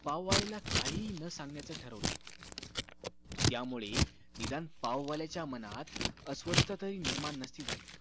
पाववालीला काहीही न सांगण्याचं ठरवलं त्यामुळे निदान पाववाल्याच्या मनात अस्वस्तथाहि तरी निर्माण नसती झाली